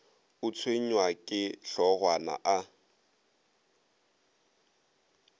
o tshwenywa ke hlogwana a